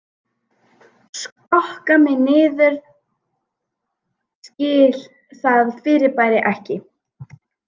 Skokka mig niður skil það fyrirbæri ekki